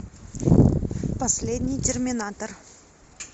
последний терминатор